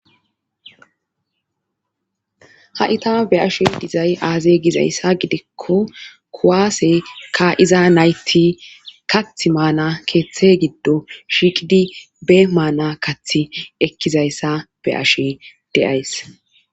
Hasita be ashe dizay aaze gizayssa gidikko kuwaase ka iza nayti kath maana keeththe giddo shiiqidi be maana kath ekkizayssa be ashe deays.